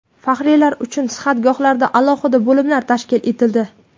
Faxriylar uchun sihatgohlarda alohida bo‘limlar tashkil etildi.